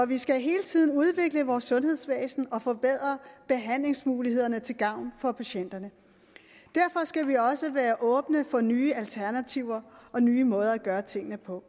vi skal hele tiden udvikle vores sundhedsvæsen og forbedre behandlingsmulighederne til gavn for patienterne derfor skal vi også være åbne for nye alternativer og nye måder at gøre tingene på